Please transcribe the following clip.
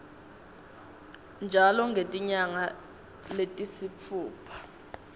njalo ngetinyanga letisitfupha